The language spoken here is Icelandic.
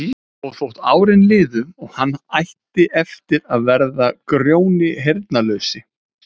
Ég sé veröldina og vanda hennar í öðru og snöggtum skærara ljósi en áður.